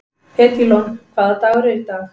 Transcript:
Edílon, hvaða dagur er í dag?